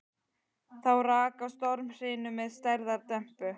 Þá rak á stormhrinu með stærðar dembu.